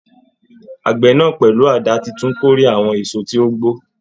Àgbẹ̀ náà, pẹ̀lú àdá titun kórè àwọn èso tí ó gbó.